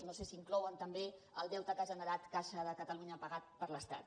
no sé si inclouen també el deute que ha generat caixa de catalunya pagat per l’estat